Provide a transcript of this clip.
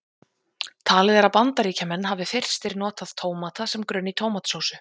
Talið er að Bandaríkjamenn hafi fyrstir notað tómata sem grunn í tómatsósu.